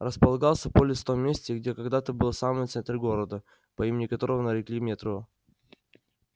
располагался полис в том месте где когда-то был самый центр города по имени которого нарекли метро